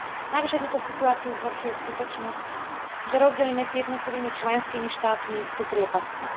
Navyše túto situáciu zhoršuje skutočnosť, že rozdiely medzi jednotlivými členskými štátmi sú priepastné.